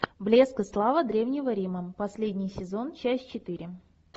блеск и слава древнего рима последний сезон часть четыре